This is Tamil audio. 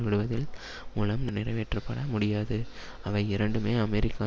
விடுவதில் மூலம் நிறைவேற்றப்பட முடியாது அவை இரண்டுமே அமெரிக்கா